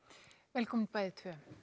velkomin bæði tvö